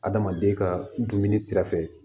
Adamaden ka dumuni sira fɛ